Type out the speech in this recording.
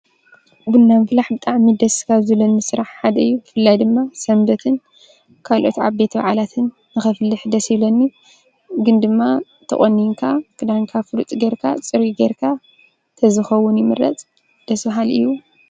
ቡና ምፍላሕ ብጣዕሚ ደስ ካብ ዝብለኒ ስራሕ ሓደ እዩ። ብፍላይ ድማ ሰንበትን ካልኦት ዓበይቲ በዓላትን ንከፍልሕ ደስ ይብለኒ:: ግን ድማ ተቆኒንካ ክዳንካ ፍሉጥ ገይርካ ፅሩይ ገይርካ ተዝከውን ይምረፅ ደስ ባሃሊ እዩ።